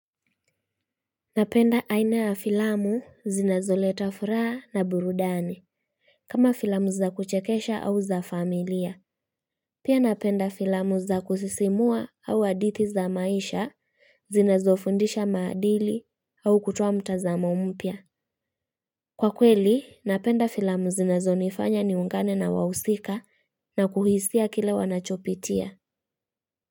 Napenda aina ya filamu zinazoleta furaa na burudani. Kama filamu za kuchekesha au za familia. Pia napenda filamu za kusisimua au adithi za maisha, zinazofundisha maadili au kutoa mtazamo mpya. Kwa kweli, napenda filamu zinazonifanya niungane na wahusika na kuhisia kile wanachopitia.